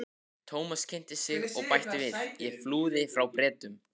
Thomas kynnti sig og bætti við: Ég flúði frá Bretum